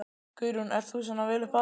Guðrún: Ert þú svona vel upp alinn?